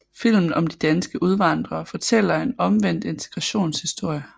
Filmen om de danske udvandrere fortæller en omvendt integrationshistorie